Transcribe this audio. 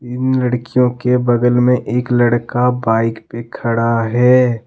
इन लड़कियो के बगल में एक लड़का बाइक पे खड़ा है।